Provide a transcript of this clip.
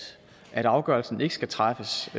at afgørelsen ikke skal træffes